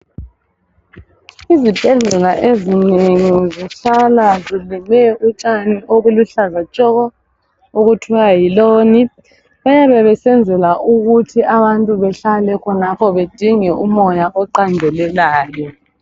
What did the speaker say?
Izibhedlela ezinengi zihlala zibekwe u tshani obuluhlaza tshoko okuthiwa yi loni bayabe besenzela ukuthi abantu behlale khonapho badinge umoya oqandelelayo